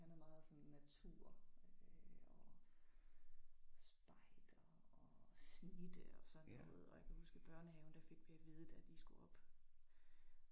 Han er meget sådan natur øh og spejder og snitte og sådan noget og jeg kan huske i børnehaven der gik vi at vide da vi skulle op